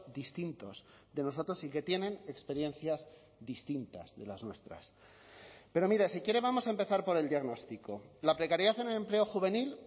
distintos de nosotros y que tienen experiencias distintas de las nuestras pero mire si quiere vamos a empezar por el diagnóstico la precariedad en el empleo juvenil